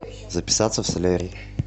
записаться в солярий